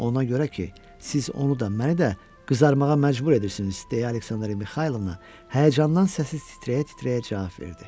Ona görə ki, siz onu da, məni də qızarmağa məcbur edirsiniz, deyə Aleksandra Mixaylovna həyəcandan səsi titrəyə-titrəyə cavab verdi.